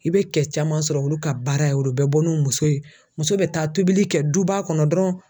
I bɛ kɛ caman sɔrɔ olu ka baara ye o bɛ bɔ n'u muso ye muso bɛ taa tobili kɛ duba kɔnɔ dɔrɔn